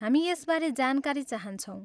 हामी यसबारे जानकारी चाहन्छौँ।